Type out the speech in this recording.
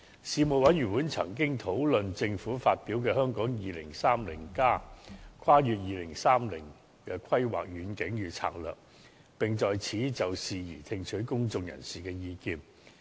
事務委員會曾經討論政府發表的《香港 2030+： 跨越2030年的規劃遠景與策略》，並就此事宜聽取公眾人士的意見。